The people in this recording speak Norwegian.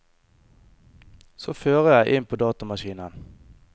Så fører jeg inn på datamaskinen.